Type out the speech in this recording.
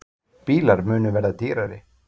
Bílar munu verða dýrari